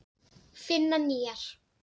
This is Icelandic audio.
Finna nýjar.